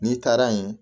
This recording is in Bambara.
N'i taara yen